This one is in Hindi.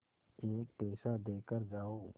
एक पैसा देकर जाओ